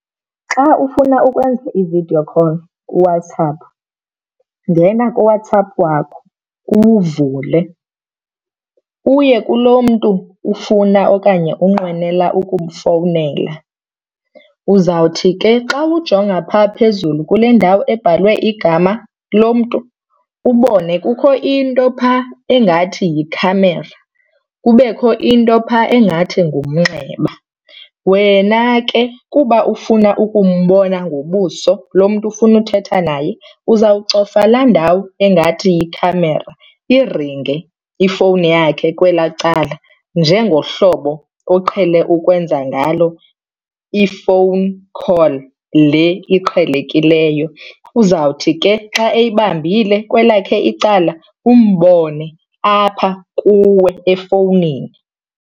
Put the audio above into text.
Xa ufuna ukwenza i-video call kuWhatsApp ngena kuWhatsApp wakho uwuvule uye kulo mntu ufuna okanye unqwenela ukumfowunela. Uzawuthi ke xa ujonga phaa phezulu kule ndawo ebhalwe igama lomntu ubone kukho into phaa engathi yikhamera, kubekho into phaa engathi ngumnxeba. Wena ke kuba ufuna ukumbona ngobuso lo mntu ufuna uthetha naye uzawucofa laa ndawo engathi yikhamera iringe ifowuni yakhe kwelaa cala njengohlobo oqhele ukwenza ngalo i-phone call le iqhelekileyo. Uzawuthi ke xa eyibambile kwelakhe icala umbone apha kuwe efowunini.